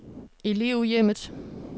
Elevhjemmet